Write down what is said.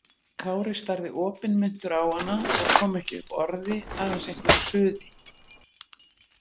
Kári starði opinmynntur á hana og kom ekki upp orði, aðeins einhverju suði.